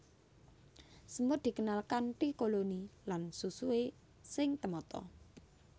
Semut dikenal kanthi koloni lan susuhé sing temata